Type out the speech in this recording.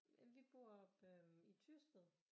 Jamen vi oppe øh i Tyrsted